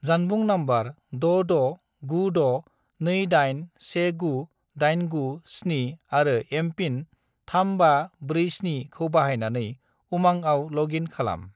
जानबुं नम्बर 66962819897 आरो एम.पिन. 3547 खौ बाहायनानै उमांआव लग इन खालाम।